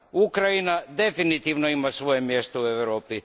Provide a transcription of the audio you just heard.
Ukrajina definitivno ima svoje mjesto u Europi.